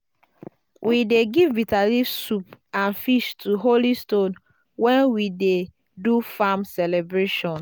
we dey give bitterleaf soup and fish to the holy stone when we dey do farm celebration.